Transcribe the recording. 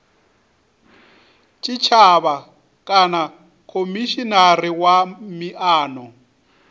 tshitshavha kana khomishinari wa miano